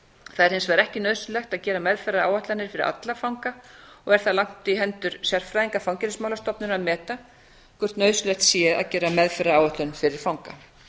það hefur hins vegar ekki nauðsynlegt að gera meðferðaráætlanir fyrir alla fanga og er það lagt í hendur sérfræðinga fangelsismálastofnunar að meta hvort nauðsynlegt sé að gera meðferðaráætlun fyrir fanga